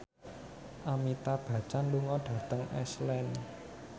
Amitabh Bachchan lunga dhateng Iceland